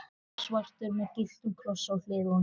Biksvartur með gylltum krossi á hliðunum.